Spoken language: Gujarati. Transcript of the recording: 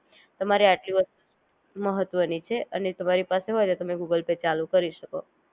તમારે આટલી વસ્તુ મહત્વ ની છે, અને તમારી પાસે હોય તો તમે ગૂગલ પે ચાલુ કરી શકો